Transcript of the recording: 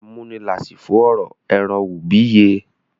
Amúnilásífo ọrọ èràn ùbíye